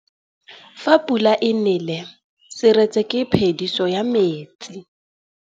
Fa pula e nelê serêtsê ke phêdisô ya metsi.